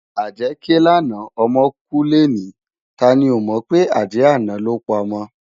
Ájè ké làná òmò kú lèni táni ó mò pé ájè àná ló pá òmò